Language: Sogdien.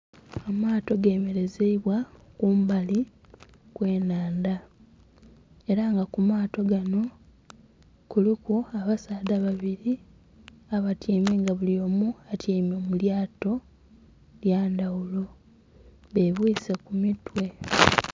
Amaato gemelezeibwa kumbali kwe nhandha era nga ku maato ghanho kuliku abasaadha babiri abatyaime nga blyomu atyaime mu lyato lya ndhaghulo be bwiseku ku mitwe.